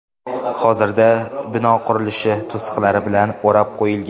Hozirda bino qurilish to‘siqlari bilan o‘rab qo‘yilgan.